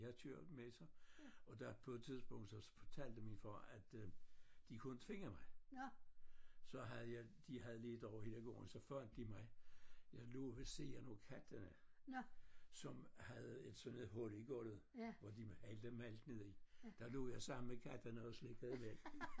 Jeg kørte med så og der på et tidspunkt så fortalte min far at øh de kunne inte finde mig så havde jeg de havde ledt over hele gården så fandt de mig jeg lå ved siden af kattene som havde et sådan hul i gulvet hvor de hældte mælk ned i der lå jeg sammen med kattene og slikkede mælk